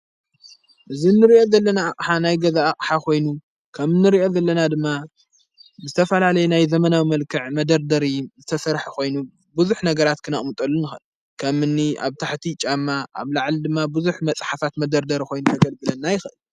እዝ እንርእኢት ዘለና ሓናይ ገዝኣቕሓ ኾይኑ ከም ንርእኢት ዘለና ድማ ዝተፋላለይ ናይ ዘመናዊ መልክዕ መደርደር ዝተሠርሕ ኾይኑ ብዙኅ ነገራት ክናእሙጠሉ ንኸል ከም እኒ ኣብ ታሕቲ ጫማ ኣብ ለዓል ድማ ብዙኅ መጻሓፋት መደርደር ኾይኑ ነገል ብለና ይኽእል።